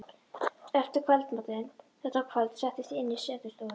Eftir kvöldmatinn þetta kvöld settist ég inn í setustofuna.